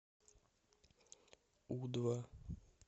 у два